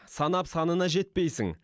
санап санына жетпейсің